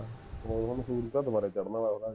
ਉਹ ਹੁਣ ਸੂਰਜ ਤਾਂ ਦੁਬਾਰਾ ਚੜ੍ਹਨ ਵਾਲਾ ਹੈ